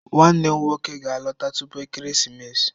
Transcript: Nwannem nwoke ga-alọta tupu ekeresimesi.